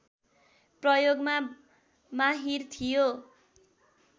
प्रयोगमा माहिर थियो